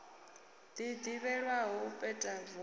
ḽi ḓivhelwaho u peta voho